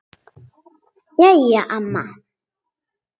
Jæja amma.